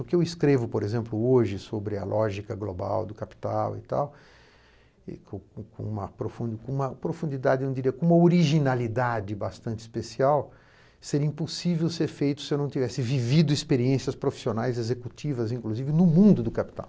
O que eu escrevo, por exemplo, hoje sobre a lógica global do capital e tal, e com com com uma profun com uma profundidade eu diria, com uma originalidade bastante especial, seria impossível ser feito se eu não tivesse vivido experiências profissionais, executivas, inclusive, no mundo do capital.